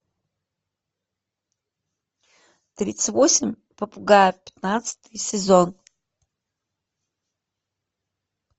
тридцать восемь попугаев пятнадцатый сезон